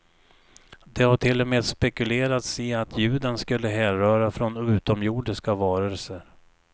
Det har till och med spekulerats i att ljuden skulle härröra från utomjordiska varelser.